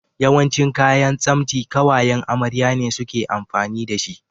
Yawancin kayan tsamsti ƙawayan amarya ne suke amfani da shi.